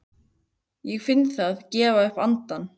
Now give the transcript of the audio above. Ég finn það gefa upp andann.